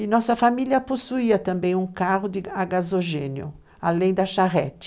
E nossa família possuía também um carro a gasogênio, além da charrete.